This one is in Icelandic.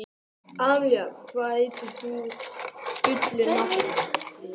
Emelía, hvað heitir þú fullu nafni?